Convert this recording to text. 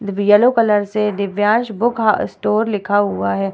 Divya yellow colour से Divyansh book ह store लिखा हुआ है।